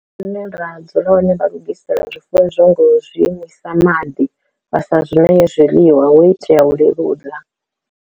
Zwine ra dzula hone vha lugisela zwifuwo izwo ngo zwi imisa maḓi vha sa zwine zwiḽiwa ho itea u leludza.